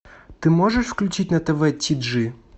ты можешь включить на тв ти джи